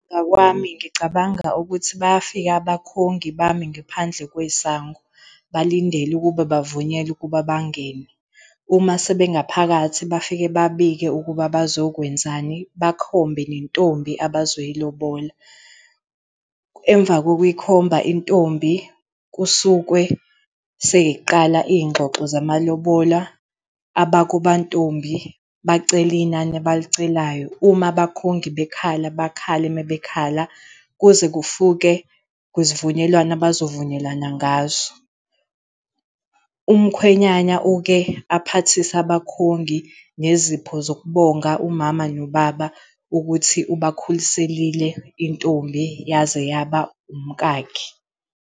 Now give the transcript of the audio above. ngicabanga ukuthi bayafika abakhongi bami ngaphandle kwesango, balindele ukuba bavunyelwe ukuba bangene. Uma sebe ngaphakathi bafike babike ukuba bazokwenzani, bakhombe nentombi abazoyilobola. Emva kokuyi khomba intombi, kusukwe sey'qala iy'ngxoxo zamalobola. Abakubo kwantombi bacele inani abalicelayo, uma abakhongi bekhala bakhale mabekhala, kuze kufike kwisivunyelwano abazovunyelana ngaso. Umkhwenyana uke aphathise abakhongi ngezipho zokubonga umama nobaba ukuthi ubakhuliselile intombi yaze yaba umkakhe.